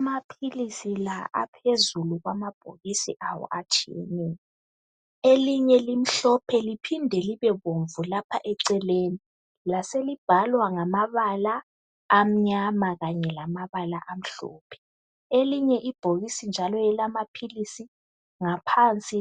Amaphilisi la aphezulu kwamabhokisi awo atshiyeneyo, elinye limhlophe liphinde libe bomvu lapha eceleni, laselibhalwa ngamabala amnyama, elinye